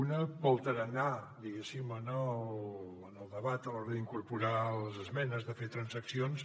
un pel tarannà diguéssim en el debat a l’hora d’incorporar les esmenes de fer transaccions